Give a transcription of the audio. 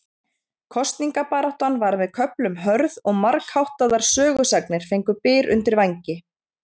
Kosningabaráttan var með köflum hörð og margháttaðar sögusagnir fengu byr undir vængi.